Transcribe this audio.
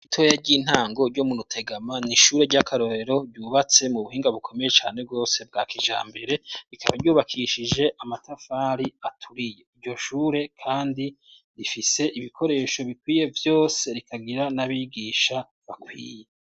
Ishure ritoya ry'intango ryo mu Rutegama, n'ishure ry'akarorero ryubatse mu buhinga bukomeye cane rwose, bwa kijambere, rikaba ryubakishije amatafari aturiye, iryo shure kandi rifise ibikoresho bikwiye vyose, rikagira n'abigisha bakwiye.